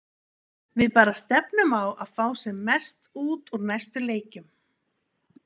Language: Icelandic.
Við bara stefnum á að fá sem mest út úr næstu leikjum.